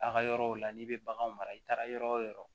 A ka yɔrɔw la n'i bɛ bagan mara i taara yɔrɔ o yɔrɔ